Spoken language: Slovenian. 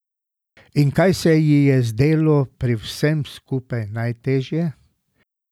In kaj se ji je zdelo pri vsem skupaj najtežje?